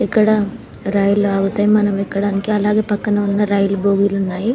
ఇక్కడ రైలు ఆగుతాయి మనం ఎక్కడానికి ఇక్కడ రైలు భవగీలు ఉన్నాయి --